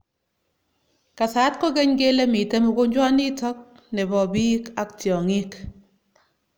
Kasat kokeny kele mitei mogonjwanitok nebo bik ak tiongik.